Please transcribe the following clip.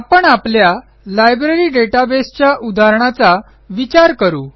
आपण आपल्या लायब्ररी databaseच्या उदाहरणाचा विचार करू